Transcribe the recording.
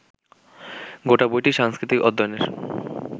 গোটা বইটিই সাংস্কৃতিক-অধ্যয়নের